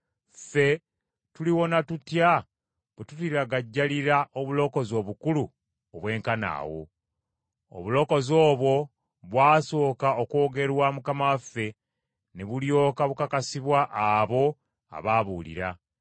ffe tuliwona tutya bwe tuliragajjalira obulokozi obukulu obwenkana awo? Obulokozi obwo bwasooka okwogerwa Mukama waffe, ne bulyoka bukakasibwa abo abaabuwulira.